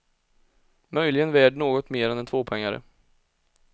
Möjligen värd något mer än en tvåpoängare.